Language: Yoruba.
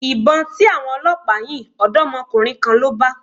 Ìbọn tí àwọn Ọlọpa yìn, odomokunrin kan ló bà.